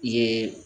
Ye